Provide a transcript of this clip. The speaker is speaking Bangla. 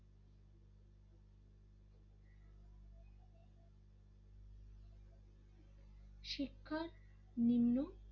ক্ষার নিম্ন